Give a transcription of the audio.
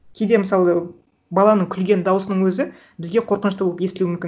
кейде мысалы баланың күлген дауысының өзі бізге қорқынышты болып естілуі мүмкін